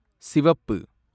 சிவப்பு